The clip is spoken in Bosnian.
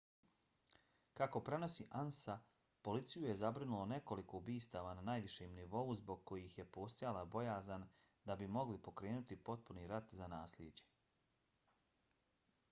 kako prenosi ansa policiju je zabrinulo nekoliko ubistava na najvišem nivou zbog kojih je postojala bojazan da bi mogli pokrenuti potpuni rat za naslijeđe